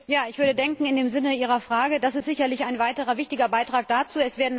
Ja, ich würde denken, in dem Sinne Ihrer Frage ist das sicherlich ein weiterer wichtiger Beitrag dazu.